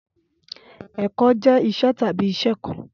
Ẹkọ jẹ iṣẹ tabi iṣẹ kan